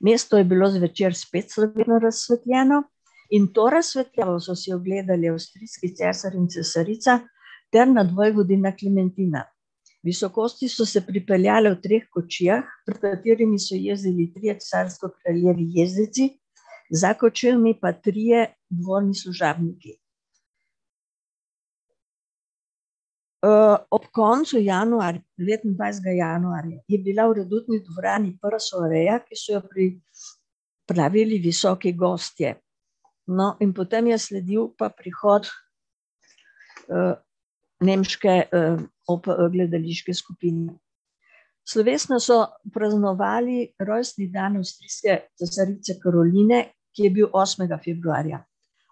Mesto je bilo zvečer spet razsvetljeno in to razsvetljavo so si ogledali avstrijski cesar in cesarica ter nadvojvodinja Klementina. Visokosti so se pripeljale v treh kočijah, na katerih so jezdili trije carsko-kraljevi jezdeci, za kočijami pa trije dvorni služabniki. ob koncu devetindvajsetega januarja, je bila v redutni dvorani prva soareja, ki so jo pripravili visoki gostje. No, in potem je sledil pa prihod, nemške, gledališke Slovesno so praznovali rojstni dan avstrijske cesarice Karoline, ki je bil osmega februarja.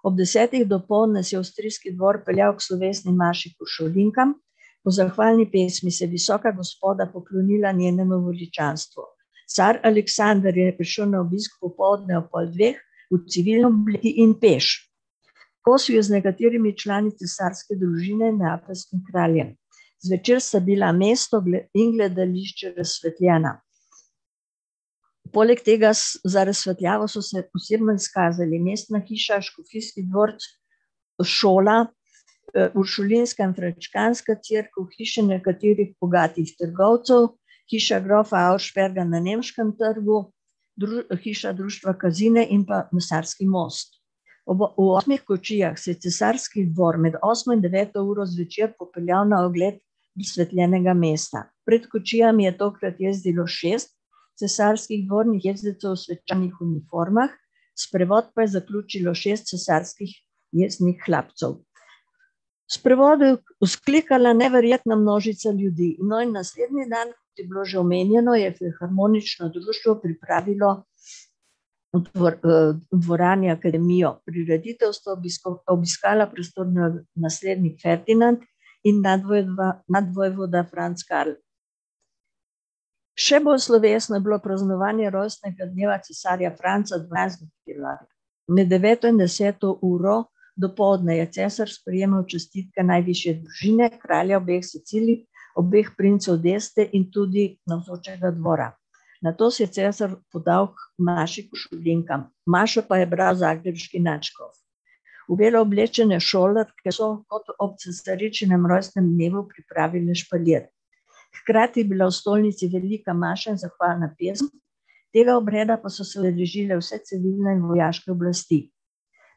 Ob desetih dopoldne se je avstrijski dvor peljal k slovesni maši k uršulinkam, po zahvalni pesmi se je visoka gospoda poklonila njenemu veličanstvu. Car Aleksander je šel na obisk popoldne ob pol dveh, v civilni obleki in peš. Kosilo je z nekaterimi člani cesarske družine in neapeljskim kraljem. Zvečer sta bila mesto in gledališče razsvetljena. Poleg tega za razsvetljavo so se posebno izkazali mestna hiša, škofijski dvorec, šola, uršulinska in frančiškanska cerkev, hiše nekaterih bogatih trgovcev, hiša grofa Auersperga na nemškem trgu, hiša društva Kazine in pa Mesarski most. v osmih kočijah se je cesarski dvor med osmo in deveto uro zvečer popeljal na ogled izsvetljenega mesta, pred kočijami je tokrat jezdilo šest cesarskih dvornih jezdecev v svečanih uniformah, sprevod pa je zaključilo šest cesarskih jezdnih hlapcev. V sprevodu je vzklikala neverjetna množica ljudi. No, in naslednji dan, je bilo že omenjeno, je Filharmonično društvo pripravilo, v dvorani akademijo, prireditev, sta obiskala prestolonaslednik Ferdinand in nadvojvoda Franc Karel. Še bolj slovesno je bilo praznovanje rojstnega dneva cesarja Franca . Med deveto in deseto uro dopoldne je cesar sprejemal čestitke najvišje družine, kralja obeh Sicilij, obeh princev in tudi navzočega dvora. Nato se je cesar podal k maši k uršulinkam. Mašo pa je bral zagrebški nadškof. V belo oblečene šolarke so ob cesaričinem rojstnem dnevu pripravile špalir. Hkrati je bila v stolnici velika maša in zahvalna pesem, tega obreda pa so se udeležile vse civilne in vojaške oblasti.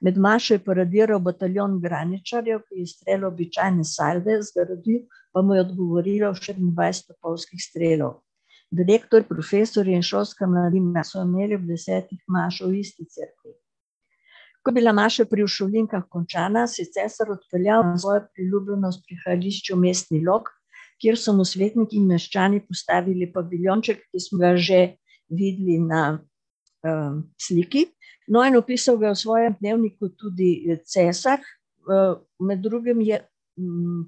Med mašo je paradiral bataljon graničarjev, ki je pa mu je odgovorilo štiriindvajset topovskih strelov. Direktor, profesorji in šolska mladina so imeli ob desetih mašo v isti cerkvi. Ko je bila maša pri uršulinkah končana, se je cesar odpeljal na svojo priljubljeno bivališče v Mestni Log, kjer so mu svetniki in meščani postavili paviljonček, ki smo ga že videli na, sliki. No, in opisal ga je v svojem dnevniku tudi cesar, med drugim je,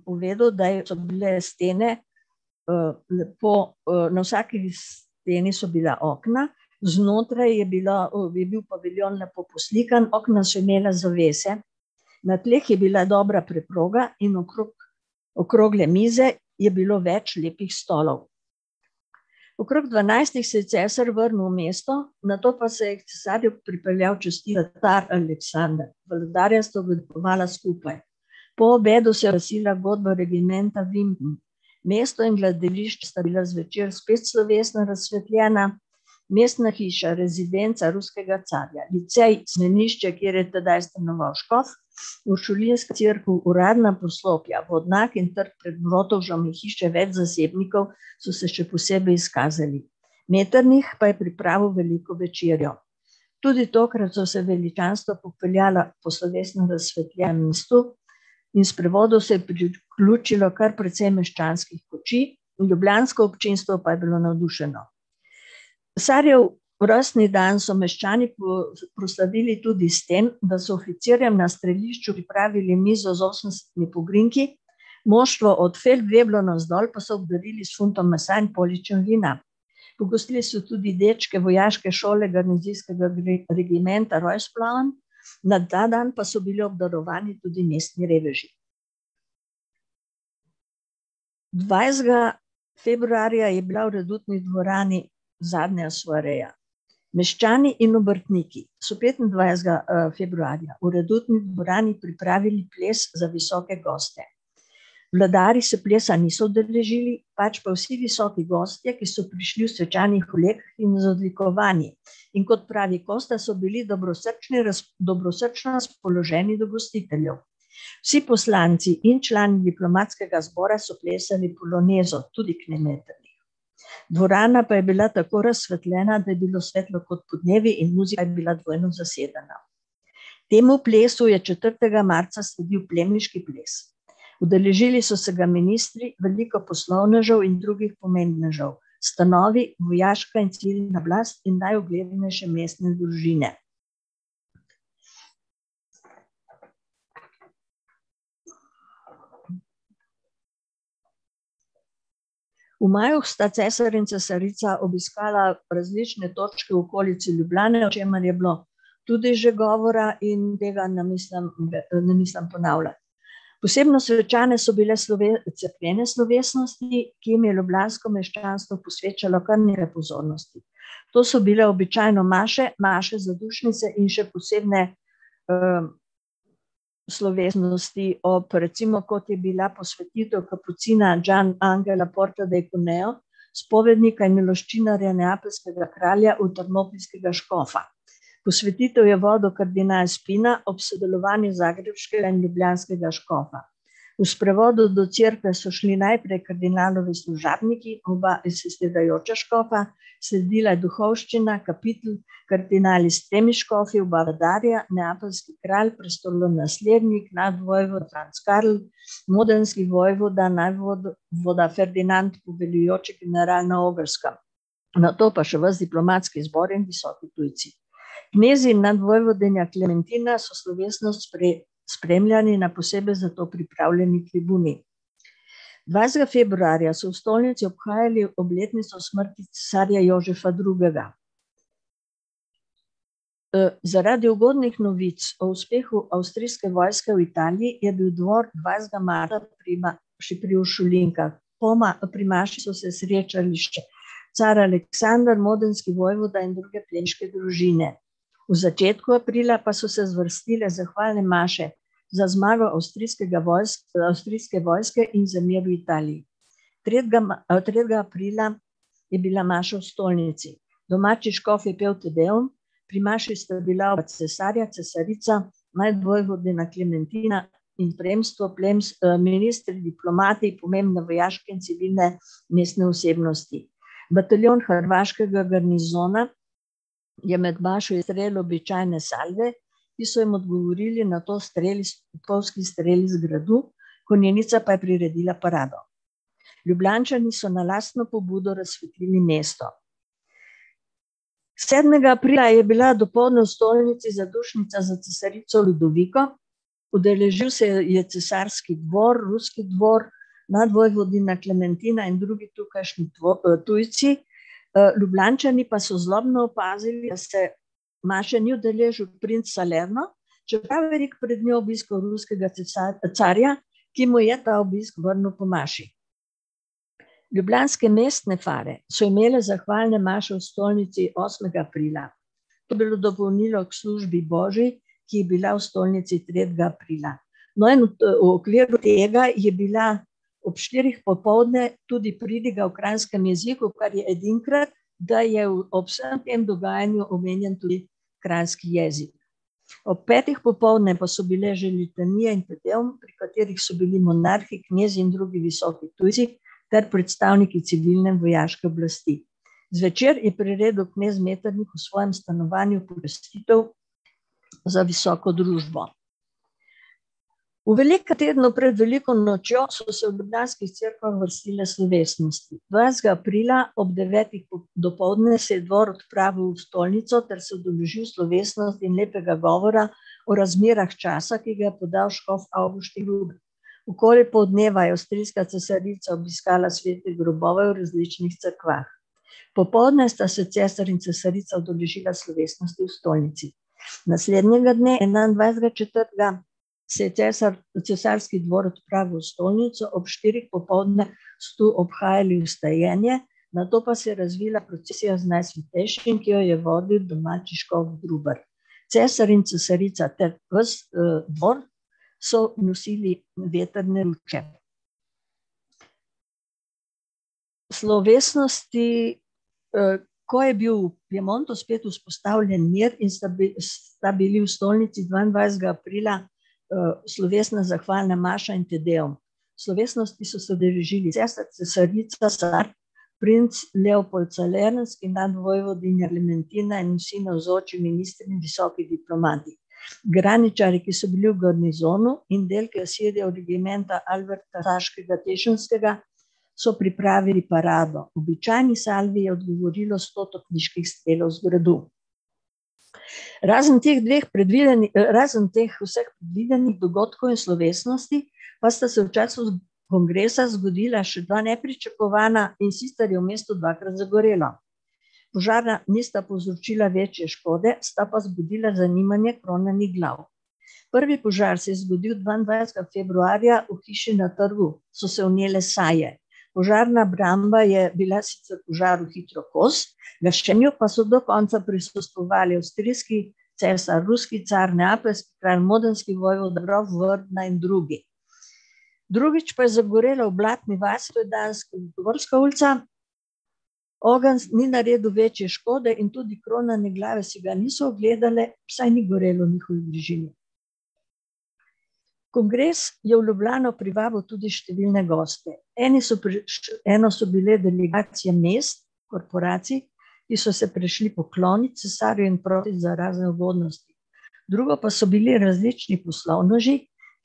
povedal, da je, so bile stene, lepo, na vsaki steni so bila okna, znotraj je bilo, je bil paviljon lepo poslikan, okna so imela zavese. Na tleh je bila dobra preproga in okrog okrogle mize je bilo več lepih stolov. Okrog dvanajstih se je cesar vrnil v mesto, nato pa se je k cesarju pripeljal kralj Aleksander. Vladarja sta obedovala skupaj. Po obedu se je oglasila godba regimenta . Mesto in sta bila zvečer spet slovesno razsvetljena, mestna hiša, rezidenca ruskega carja, licej, semenišče, kjer je tedaj stanoval škof, uršulinska cerkev, uradna poslopja, vodnjak in trg pred in hiše več zasebnikov so se še posebej izkazali. Metternich pa je pripravil veliko večerjo. Tudi tokrat so se veličanstva popeljala po slovesno razsvetljenem mestu in sprevodu se je priključilo kar precej meščanskih kočij, ljubljansko občinstvo pa je bilo navdušeno. Cesarjev rojstni dan so meščani proslavili tudi s tem, da so oficirjem na strelišču pripravili mizo z osemdeset pogrinjki, moštvo od navzdol pa so obdarili s funtom mesa in poličem vina. Pogostili so tudi dečke vojaške šole garnizijskega regimenta , na ta dan pa so bili obdarovani tudi mestni reveži. Dvajsetega februarja je bila v redutni dvorani zadnja soareja. Meščani in obrtniki so petindvajsetega, februarja v redutni dvorani pripravili ples za visoke goste. Vladarji se plesa niso udeležili, pač pa vsi visoki gostje, ki so prišli v svečanih oblekah in z odlikovanji. In kot pravi Kosta, so bili dobrosrčno dobrosrčno razpoloženi do gostiteljev. Vsi poslanci in člani diplomatskega zbora so plesali polonezo, tudi . Dvorana pa je bila tako razsvetljena, da je bilo svetlo kot podnevi in je bila dvojno zasedena. Temu plesu je četrtega marca sledil plemiški ples. Udeležili so se ga ministri, veliko poslovnežev in drugih pomembnežev. Stanovi, vojaška in civilna oblast in najuglednejše mestne družine. V maju sta cesar in cesarica obiskala različne točke v okolici Ljubljane, o čemer je bilo tudi že govora, in tega ne mislim ne mislim ponavljati. Posebno svečane so bile cerkvene slovesnosti, ki jim je ljubljansko meščanstvo posvečalo kar nekaj pozornosti. To so bile običajno maše, maše zadušnice in še posebne, slovesnosti ob recimo, kot je bila posvetitev kapucina Gian Angela , spovednika in miloščinarja, neapeljskega kralja, škofa. Posvetitev je vodil kardinal Spina ob sodelovanju zagrebškega in ljubljanskega škofa. V sprevodu do cerkve so šli najprej kardinalovi služabniki, oba škofa, sledila je duhovščina, kapitelj, kardinali s tremi škofi, oba vladarja, neapeljski kralj, prestolonaslednik nadvojvoda Franc Karel, modenski vojvoda, voda Ferdinand in general na Ogrskem. Nato pa še ves diplomatski zbor in visoki tujci. Knezi in nadvojvoda Klementina so slovesnost spremljali na posebej za to pripravljeni tribuni. Dvajsetega februarja so v stolnici obhajali obletnico smrti cesarja Jožefa drugega. zaradi ugodnih novic o uspehu avstrijske vojske v Italiji je bil dvor dvajsetega marca pri maši pri uršulinkah. Po pri maši so se srečali še car Aleksander, modenski vojvoda in druge plemiške družine. V začetku aprila pa so se zvrstile zahvalne maše za zmago avstrijskega avstrijske vojske in v Italiji. Tretjega tretjega aprila je bila maša v Stolnici. Domači škof je pel Te deum, pri maši sta bila cesarja, cesarica, nadvojvodinja Klementina in plemstvo ministri, diplomati, pomembne vojaške in civilne mestne osebnosti. Bataljon hrvaškega garnizona je med mašo izvedel običajne salve, ki so jim odgovorili nato streli topniški streli iz gradu, konjenica pa je priredila parado. Ljubljančani so na lastno pobudo razsvetlili mesto. Sedmega aprila je bila dopoldne v stolnici zadušnica za cesarico Ludoviko, udeležil se je je cesarski dvor, ruski dvor, nadvojvodinja Klementina in drugi tukajšnji tujci. Ljubljančani pa so zlobno opazili, da se maše ni udeležil princ Salerma, čeprav je obiskal ruskega carja, ki mu je ta obisk vrnil po maši. Ljubljanske mestne fare so imele zahvalne maše v Stolnici osmega aprila. To je bilo dopolnilo k službi božji, ki je bila v stolnici tretjega aprila. No, in, v okviru tega je bila ob štirih popoldne tudi pridiga v kranjskem jeziku, kar je edinkrat, da je ob vsem tem dogajanju omenjen tudi kranjski jezik. Ob petih popoldne pa so bile že litanije in , pri katerih so bili monarhi knezi, in drugi visoki tujci ter predstavniki civilne vojaške oblasti. Zvečer je priredil knez Metternich v svojem stanovanju pogostitev za visoko družbo. V velikm tednu pred veliko nočejo so se v ljubljanskih cerkvah vrstile slovesnosti, dvanajstega aprila ob devetih dopoldne se je dvor odpravil v stolnico ter se udeležil slovesnosti lepega govora o razmerah časa, ki ga je podal škof Avguštin. Okoli poldneva je avstrijska cesarica obiskala svete grobove v različnih cerkvah. Popoldne sta se cesar in cesarica udeležila slovesnosti v stolnici. Naslednjega dne, enaindvajsetega četrtega, se je cesarski dvor odpravil v stolnico, ob štirih popoldne so obhajali vstajenje, nato pa se je razvila procesija z Najsvetejšim, ki jo je vodil domači škof Grubar. Cesar in cesarica ter ves, dvor so nosili vetrne . Slovesnosti ... ko je bil v Piemontu spet vzpostavljen mir in sta sta bili v stolnici dvaindvajsetega aprila slovesna zahvalna maša in Te deum. Slovesnosti so se udeležili cesar, cesarica, car, princ Leopold in nadvojvodinja Klementina in vsi navzoči ministri in visoki diplomati. Graničarji, ki so bili v garnizonu in del regimenta so pripravili parado, običajni salvi je odgovorilo sto topniških strelov z gradu. Razen teh dveh razen vseh predvidenih dogodkov in slovesnosti pa sta se v času kongresa zgodila še dva nepričakovana, in sicer je v mestu dvakrat zagorelo. Požara nista povzročila večje škode, sta pa vzbudila zanimanje kronanih glav. Prvi požar se je zgodil dvaindvajsetega februarja, v hiši na trgu so se vnele saje. Požarna obramba je bila sicer požaru hitro kos, gašenju pa so do konca prisostvovali avstrijski cesar, ruski car, neapeljski kralj, modenski vojvoda, grof in drugi. Drugič pa je zagorelo v Blatni vasi ulica, ogenj ni naredil večje škode in tudi kronane glave si ga niso ogledale, saj ni gorelo v njihovi bližini. Kongres je v Ljubljano privabil tudi številne goste, eni so eno so bile delegacije mest, korporacij, ki so se prišli poklonit cesarju in prosit za razne ugodnosti. Drugo pa so bili različni poslovneži,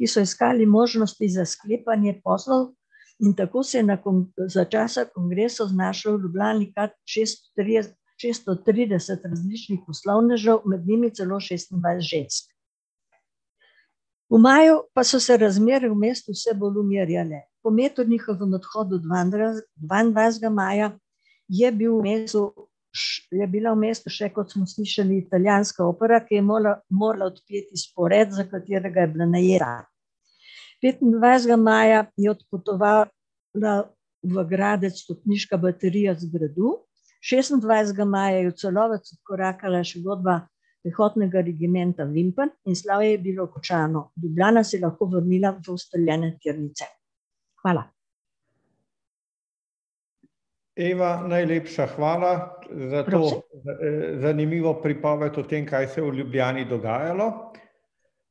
ki so iskali možnosti za sklepanje poslov, in tako se je za časa kongresa znašlo v Ljubljani kar šestintrideset, šeststo trideset različnih poslovnežev, med njimi celo šestindvajset žensk. V maju pa so se razmere v mestu vse bolj umirjale. Po Metternichovem odhodu dvaindvajsetega maja je bil v mestu, je bila v mestu še, kot smo slišali, italijanska opera, ki je morala, morala odpeti spored, za katerega je bila najeta. Petindvajsetega maja je odpotovala v Gradec topniška baterija z gradu, šestindvajsetega maja je v Celovec vkorakala še godba pehotnega regimenta in slavje je bilo končano. Ljubljana se je lahko vrnila v ustaljene tirnice. Hvala. Eva, najlepša hvala za to, zanimivo pripoved o tem, kaj se je v Ljubljani dogajalo.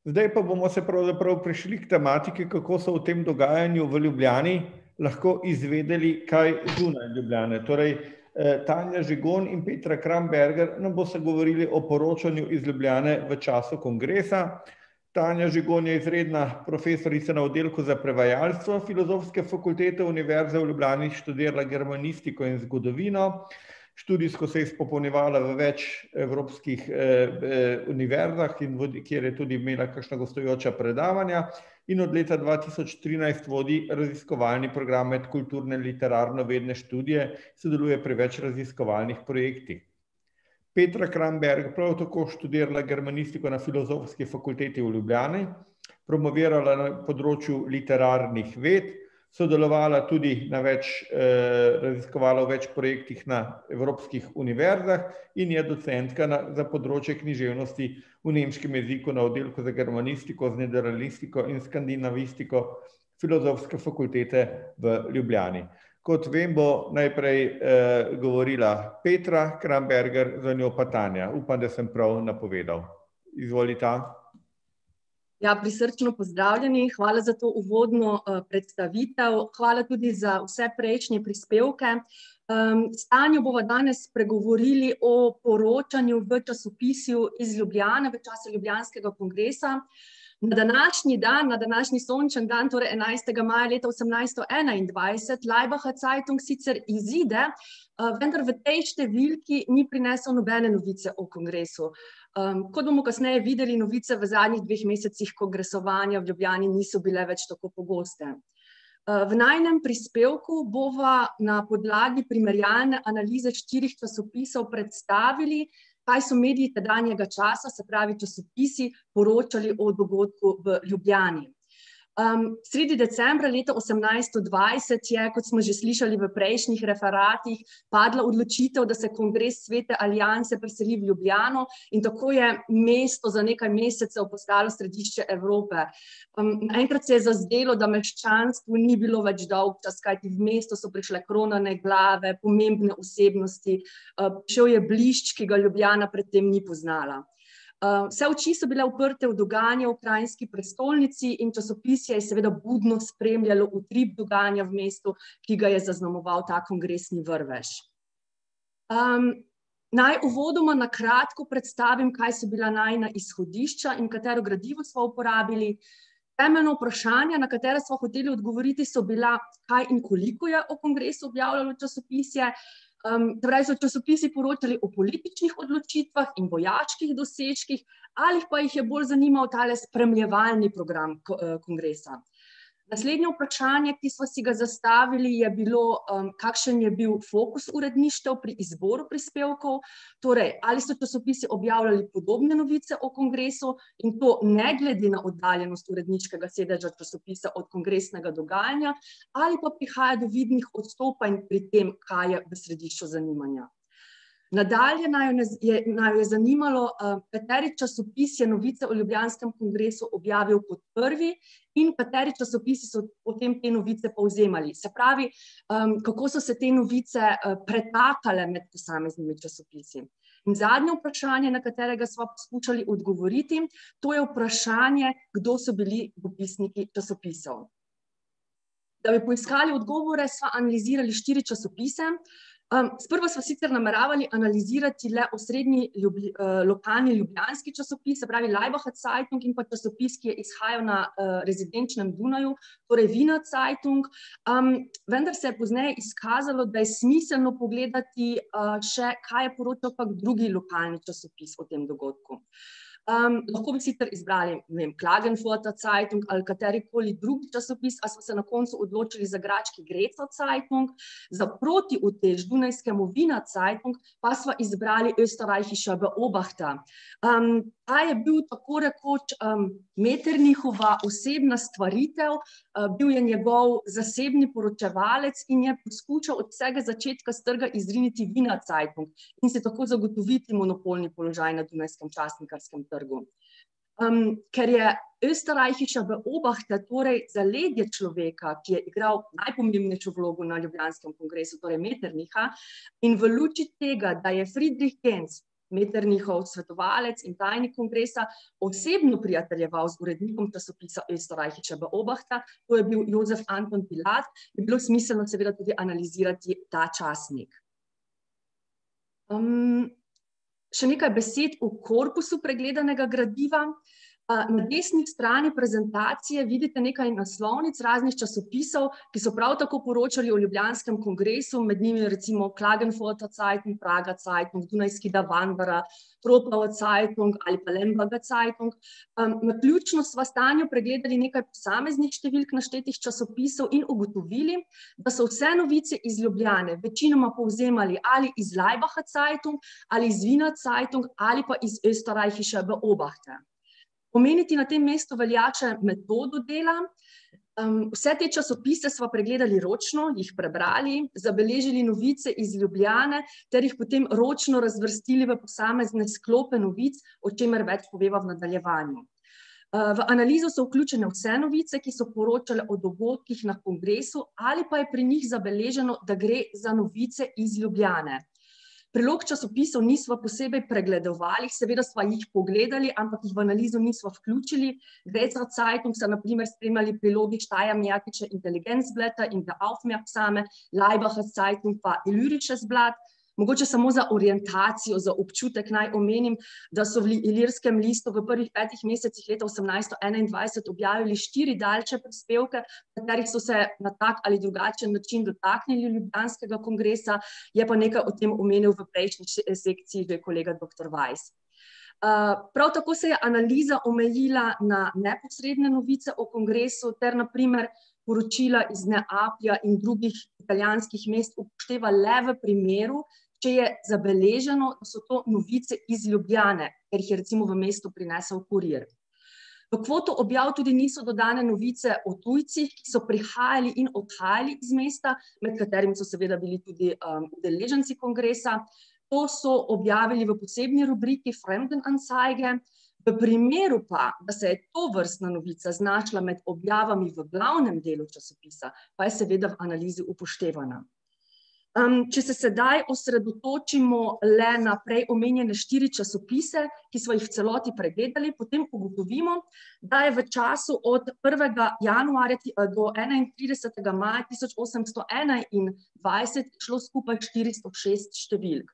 Zdaj pa bomo pravzaprav prišli k tematiki, kako so v tem dogajanju v Ljubljani lahko izvedeli kaj zunaj Ljubljane, torej, Tanja Žigon in Petra Kramberger nam bosta govorili o poročanju iz Ljubljane v času kongresa. Tanja Žigon je izredna profesorica na Oddelku za prevajalstvo Filozofske fakultete Univerze v Ljubljani, študirala je germanistiko in zgodovino, študijsko se je izpopolnjevala v več evropskih, univerzah , kjer je tudi imela kakšna gostujoča predavanja in od leta dva tisoč trinajst vodi raziskovalni program Medkulturne literarnovedne študije, sodeluje pri več raziskovalnih projektih. Petra Kramberger je prav tako študirala germanistiko na Filozofski fakulteti v Ljubljani, promovirala na področju literarnih ved, sodelovala tudi na več, raziskovala v več projektih na evropskih univerzah in je docentka na, za področje književnosti v nemškem jeziku na Oddelku za germanistiko, nederlanistiko in skandinavistiko Filozofske fakultete v Ljubljani. Kot vem, bo najprej, govorila Petra Kramberger, za njo pa Tanja, upam, da sem prav napovedal. Izvolita. Ja, prisrčno pozdravljeni, hvala za to uvodno, predstavitev, hvala tudi za vse prejšnje prispevke. s Tanjo bova danes spregovorili o poročanju v časopisju iz Ljubljane v času Ljubljanskega kongresa. Na današnji dan, na današnji sončen dan, torej enajstega maja leta osemnajststo enaindvajset Laibacher Zeitung sicer izide, vendar v tej številki ni prinesel nobene novice o kongresu. kot bomo pozneje videli, novice v zadnjih dveh mesecih kongresovanja v Ljubljani niso bile več tako pogoste. v najinem prispevku bova na podlagi primerjalne analize štirih časopisov predstavili, kaj so mediji tedanjega časa, se pravi časopisi, poročali o dogodku v Ljubljani. sredi decembra, leta osemnajststo dvajset je, kot smo že slišali v prejšnjih referatih, padla odločitev, da se kongres Svete alianse preseli v Ljubljano, in tako je mesto za nekaj mesecev postalo središče Evrope. Naenkrat se je zazdelo, da meščanstvu ni bilo več dolgčas, kajti v mesto so prišle kronane glave, pomembne osebnosti, prišel je blišč, ki ga Ljubljana pred tem ni poznala. vse oči so bile uprte v dogajanje v kranjski prestolnici in časopisje je seveda budno spremljalo utrip dogajanja v mestu, ki ga je zaznamoval ta kongresni vrvež. naj uvodoma na kratko predstavim, kaj so bila najina izhodišča in katero gradivo sva uporabili. Temeljna vprašanja, na katera sva hoteli odgovoriti, so bila, kaj in koliko je o kongresu objavljalo časopisje, se pravi, so časopisi poročali o političnih odločitvah in vojaških dosežkih ali pa jih je bolj zanimal tale spremljevalni program, kongresa. Naslednje vprašanje, ki sva si ga zastavili, je bilo, kakšen je bil fokus uredništev pri izboru prispevkov, torej ali so časopisi objavljali podobne novice o kongresu in to ne glede na oddaljenost uredniškega sedeža časopisa od kongresnega dogajanja ali pa prihaja do vidnih odstopanj pri tem, kaj je v središču zanimanja. Nadaljnje naju je zanimalo, kateri časopis je novico o Ljubljanskem kongresu objavil kot prvi in kateri časopisi so potem te novice povzemali, se pravi, kako so se te novice, pretakale med posameznimi časopisi. In zadnje vprašanje, na katerega sva skušali odgovoriti, to je vprašanje, kdo so bili dopisniki časopisov. Da bi poiskali odgovore, sva analizirali štiri časopise. sprva sva sicr nameravali analizirati le osrednji, lokalni ljubljanski časopis, se pravi Laibacher Zeitung, in pa časopis, ki je izhajal na, rezidenčnem Dunaju, torej Wiener Zeitung. vendar se je pozneje izkazalo, da je smiselno pogledati, še, kaj je poročal pa drugi lokalni časopis o tem dogodku. lahko bi sicer izbrali, ne vem, Klagenfurter Zeitung ali katerikoli drug časopis, a sva se na koncu odločili za graški Zeitung. Za protiutež dunajskemu Wiener Zeitung pa sva izbrali Oesterreichische Beobachter. ta je bil tako rekoč, Metternichova osebna stvaritev, bil je njegov zasebni poročevalec in je poskušal od vsega začetka s trga izriniti Wiener Zeitung in si tako zagotoviti monopolni položaj na dunajskem časnikarskem trgu. ker je Oesterreichische Beobachter torej zaledje človeka, ki je igral najpomembnejšo vlogo na Ljubljanskem kongresu, torej Metternicha, in v luči tega, da je Friedrich , Metternichov svetovalec in tajnik kongresa, osebno prijateljeval z urednikom časopisa Oesterreichische Beobachter, to je bil Jozef Anton , je bilo smiselno seveda tudi analizirati ta časnik. še nekaj besed o korpusu pregledanega gradiva. na desni strani prezentacije vidite nekaj naslovnic raznih časopisov, ki so prav tako poročali o ljubljanskem kongresu, med njimi je recimo Klagenfurten Zeitung, Prager Zeitung, dunajski Zeitung ali pa Zeitung. naključno sva s Tanjo pregledali nekaj posameznih številk naštetih časopisov in ugotovili, da so vse novice iz Ljubljane večinoma povzemali ali iz Laibacher Zeitung ali iz Wiener Zeitung ali pa iz Oesterreichische Beobachter. Omeniti na tem mestu velja še metodo dela. vse te časopise sva pregledali ročno, jih prebrali, zabeležili novice iz Ljubljane ter jih potem ročno razvrstili v posamezne sklope novic, o čemer poveva več v nadaljevanju. v analizo so vključene vse novice, ki so poročale o dogodkih na kongresu ali pa je pri njih zabeleženo, da gre za novice iz Ljubljane. Prilog časopisov nisva posebej pregledovali, seveda sva jih pogledali, ampak jih v analizo nisva vključili. Zeitung so na primer spremljali v prilogi Laibacher Zeitung pa Illyrisches Blatt. Mogoče samo za orientacijo, za občutek naj omenim, da so v Ilirskem listu v prvih petih mesecih leta osemnajststo enaindvajset objavili štiri daljše prispevke, v katerih so se na tak ali drugačen način dotaknili ljubljanskega kongresa, je pa nekaj o tem omenil v prejšnji sekciji že kolega doktor Weiss. prav tako se je analiza omejila na neposredne novice o kongresu ter na primer poročila iz Neaplja in drugih italijanskih mest upošteva le v primeru, če je zabeleženo, da so to novice iz Ljubljane, ker jih je recimo v mesto prinesel kurir. V kvoto objav tudi niso dodane novice o tujcih, ki so prihajali in odhajali iz mesta, med katerimi so seveda bili tudi, udeleženci kongresa. To so objavili v posebni rubriki, Fremdenanzeige, v primeru pa, da se je tovrstna novica znašla med objavami v glavnem delu časopisa, pa je seveda v analizi upoštevana. če se sedaj osredotočimo le na prej omenjene štiri časopise, ki sva jih v celoti pregledali, potem ugotovimo, da je v času od prvega januarja do enaintridesetega maja tisoč osemsto enaindvajset izšlo skupaj štiristo šest številk.